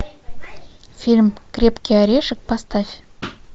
фильм крепкий орешек поставь